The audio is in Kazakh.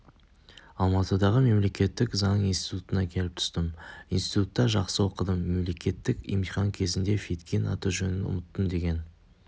алматыдағы мемлекеттік заң институтына келіп түстім институтта жақсы оқыдым мемлекеттік емтихан кезінде федкин аты-жөнін ұмыттым деген